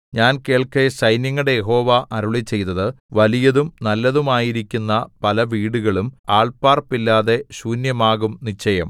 ഞാൻ കേൾക്കെ സൈന്യങ്ങളുടെ യഹോവ അരുളിച്ചെയ്തത് വലിയതും നല്ലതുമായിരിക്കുന്ന പലവീടുകളും ആൾ പാർപ്പില്ലാതെ ശൂന്യമാകും നിശ്ചയം